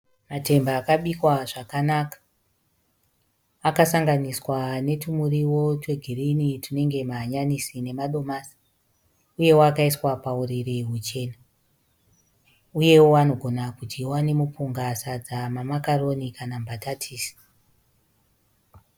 Matemba akabikwa zvakanaka akasanganiswa netumurio twegirini tunenge mahanyanisi namadimasi uyeo akaiswa pauriri huchena uyeo anogona kudyiwa nemupunga, sadza, mamakaroni kana mbatatisi.